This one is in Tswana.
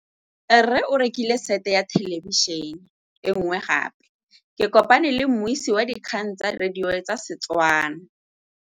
Rre o rekile sete ya thêlêbišênê e nngwe gape. Ke kopane mmuisi w dikgang tsa radio tsa Setswana.